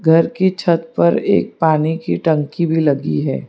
घर की छत पर एक पानी की टंकी भी लगी है।